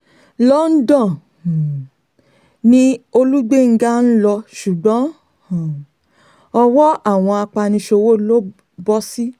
london um ni olùgbéńgá ń lọ ṣùgbọ́n um ọwọ́ àwọn apaniṣòwò ló bọ́ sí